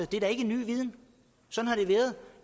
det er da ikke en ny viden sådan